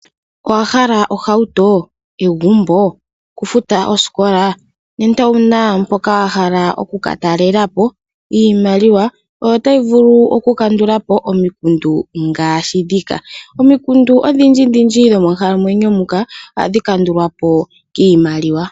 Owahala ohauto, egumbo, okufuta oosikola? Nenge owuna mpoka wahala oku ka talelapo ? Iimaliwa oyo tayi vulu oku kandulapo omikundu ngaashi ndhika . Omikundu odhindji monkalamwenyo muka ohadhi kandulwapo kiimaliwa.